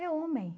É homem.